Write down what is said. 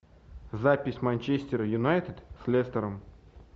запись манчестер юнайтед с лестером